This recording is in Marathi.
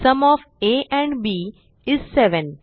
sum of A and B is 7